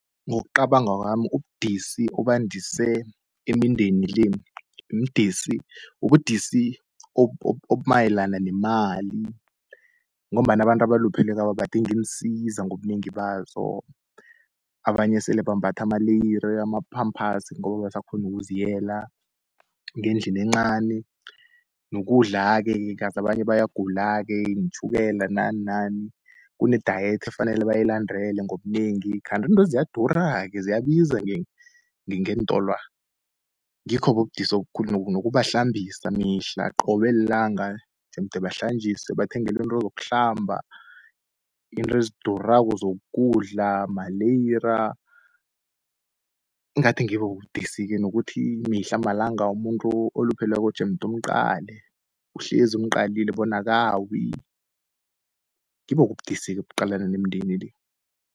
Ngokucabanga kwami, ubudisi obandise imindeni le mdisi, ubudisi obumayelana nemali, ngombana abantu abalupheleko laba badinga iinsiza ngobunengi bazo, abanye sele bambatha amaleyiri, ama-pampers ngoba abasakghoni nokuziyela ngendlini encani. Nokudlake-ke kazi abanye bayagula-ke iintjhukela nani nani kune-diet efanele bayilandele ngobunengi, kanti intwezi ziyadura-ke ziyabiza ngeentolwa. Ngikho-ke ubudisi obukhulu nokubahlambisa mihla qobe lilanga jemde bahlanjiswe, bathengelwe izinto zokuhlamba, izinto ezidurako zokudla, maleyira. Ingathi ngibobo ubudisi-ke nokuthi mihla malanga umuntu olupheleko jemde umqale uhlezi umqalile bona akawi ngibo-ke ubudisi-ke obuqalana nemindeni le.